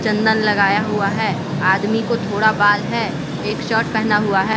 चंदन लगाया हुआ है आदमी को थोड़ा बाल है एक शर्ट पहना हुआ है।